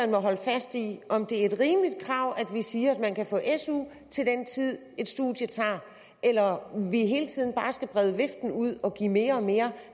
må holde fast i om det er et rimeligt krav at vi siger at man kan få su til den tid et studium tager eller om vi hele tiden bare skal brede viften ud og give mere og mere